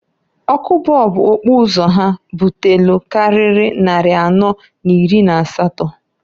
Ọkụ bọọbụ okpuzo ha butelu kariri nnari anọọ n'iri n'asatọ.